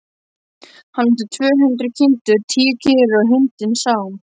Hann átti tvö hundruð kindur, tíu kýr og hundinn Sám.